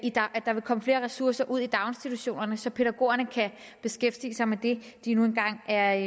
der vil komme flere ressourcer ud i daginstitutionerne så pædagogerne kan beskæftige sig med det de nu engang er